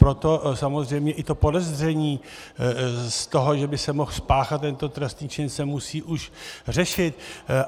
Proto samozřejmě i to podezření z toho, že by se mohl spáchat tento trestný čin, se musí už řešit.